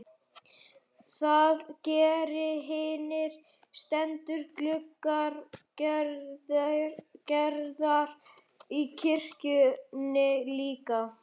Það gera hinir steindu gluggar Gerðar í kirkjunni líka.